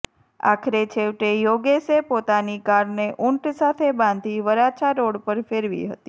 આખરે છેવટે યોગેશે પોતાની કારને ઊંટ સાથે બાંધી વરાછા રોડ પર ફેરવી હતી